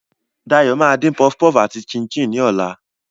Dayo máa dín puff puff àti chin-chin ní ọ̀la.